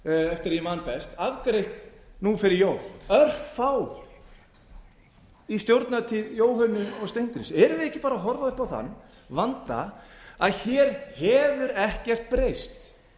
eftir ég man best afgreitt nú fyrir jól örfá mál í stjórnartíð jóhönnu og steingríms erum við ekki bara að horfa upp á þann vanda að hér hefur ekkert breyst